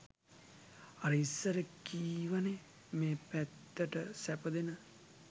අර ඉස්සර කීවනේ මේ පැත්තට සැප දෙන